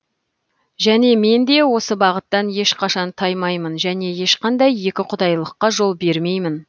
және мен де осы бағыттан ешқашан таймаймын және ешқандай екіұдайылыққа жол бермеймін